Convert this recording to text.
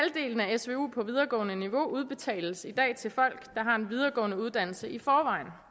af svu på videregående niveau udbetales i dag til folk der har en videregående uddannelse i forvejen